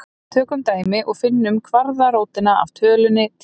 Tökum dæmi og finnum kvaðratrótina af tölunni tíu.